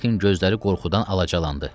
Zdenekin gözləri qorxudan alacalandı.